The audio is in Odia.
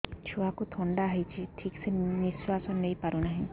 ଛୁଆକୁ ଥଣ୍ଡା ହେଇଛି ଠିକ ସେ ନିଶ୍ୱାସ ନେଇ ପାରୁ ନାହିଁ